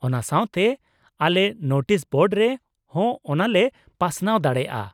ᱚᱱᱟ ᱥᱟᱶᱛᱮ, ᱟᱞᱮ ᱱᱳᱴᱤᱥ ᱵᱳᱰ ᱨᱮ ᱦᱚᱸ ᱚᱱᱟ ᱞᱮ ᱯᱟᱥᱱᱟᱣ ᱫᱟᱲᱮᱭᱟᱜᱼᱟ ᱾